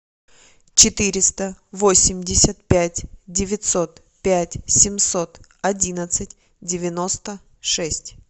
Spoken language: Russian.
четыреста восемьдесят пять девятьсот пять семьсот одиннадцать девяносто шесть